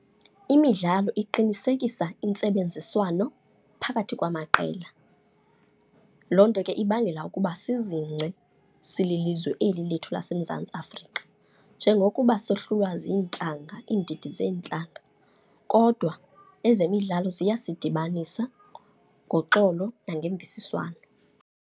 Imidlalo iqinisekisa intsebenziswano phakathi kwamaqela, loo nto ke ibangela ukuba sizingce sililizwe eli lethu laseMzantsi Afrika. Njengokuba sohluhlwa ziintlanga, iindidi zeentlanga, kodwa ezemidlalo ziyasidibanisa ngoxolo nangemvisiswano.